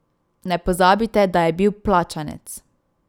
Ne pozabite, da je bil plačanec.